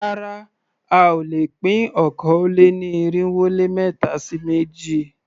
Rárá a ò lè pín okòó-lé-ní-irínwó-lé-ẹ̀ta sí méjì.